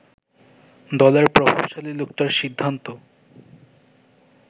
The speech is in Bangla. দলের প্রভাবশালী লোকটার সিদ্ধান্ত